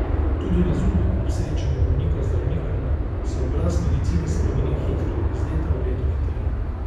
Tudi na zunaj, ob srečanju bolnika z zdravnikom, se obraz medicine spreminja hitro, iz leta v leto hitreje.